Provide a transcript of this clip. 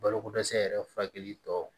Balokodɛsɛ yɛrɛ furakɛli tɔw